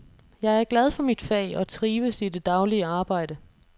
Jeg er glad for mit fag og trives i det daglige arbejde.